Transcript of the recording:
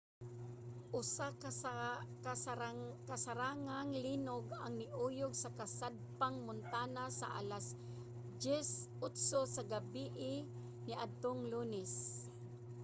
usa ka kasarangang linog ang niuyog sa kasadpang montana sa alas 10:08 sa gabii niadtong lunes